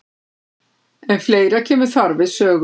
En fleira kemur þar við sögu.